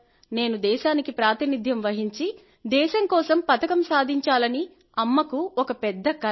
నేను దేశానికి ప్రాతినిధ్యం వహించి దేశం కోసం పతకం సాధించాలని అమ్మకు ఒక పెద్ద కల